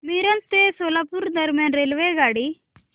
मिरज ते सोलापूर दरम्यान रेल्वेगाडी